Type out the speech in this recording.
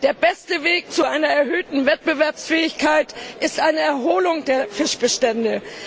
Der beste Weg zu einer erhöhten Wettbewerbsfähigkeit ist eine Erholung der Fischbestände.